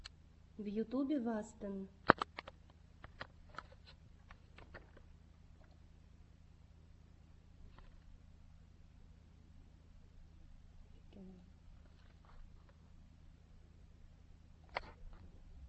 в ютюбе вастен